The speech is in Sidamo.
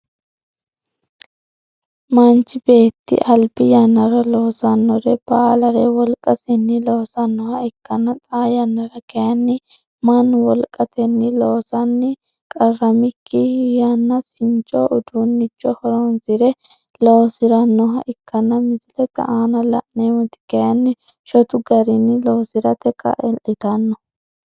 Machi beeti albi yanara loosanore baalare wolqasinni loosanoha ikanna xaa yannara kayinni Manu wolqatenni loosanni qaramiki yanaasincho uduunnicho horoonsire loosiranoha ikanna misilete aanna la'neemoti kayinni shotu garinni loosirate kaa'itano